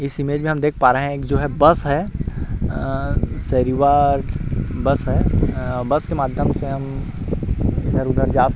इस इमेज में हम देख पा रहै है एक जो है बस है अ सरिवा बस है अ बस के माध्यम से हम इधर - उधर जा सक --